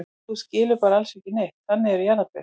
Þú skilur bara alls ekki neitt, þannig eru jarðarber.